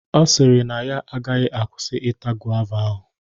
Ọ sịrị na ya agaghị akwụsị ita gova ahụ.